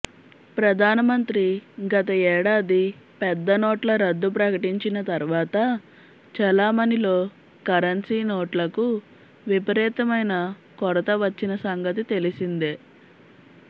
ప్రధానమంత్రి గత ఏడాది పెద్దనోట్ల రద్దు ప్రకటించిన తర్వా త చెలామణిలో కరెన్సీ నోట్లకు విపరీతమైన కొరత వచ్చినసంగతి తెలిసిందే